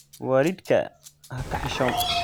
Waalidkaa ha ka xishoon.